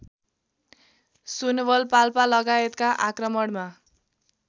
सुनवल पाल्पालगायतका आक्रमणमा